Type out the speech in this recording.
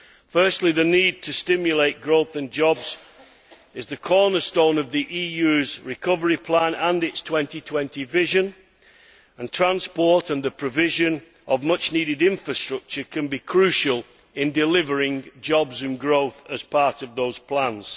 Firstly, the need to stimulate growth and jobs is the cornerstone of the EU's recovery plan and its 2020 vision, and transport and the provision of much needed infrastructure can be crucial in delivering jobs and growth as part of those plans.